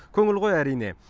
көңіл ғой әрине